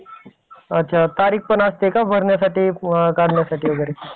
अच्छा तारीख पण असते का भरण्यासाठी? काढण्यासाठी वगैरे?